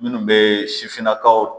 Minnu bɛ sifinnakaw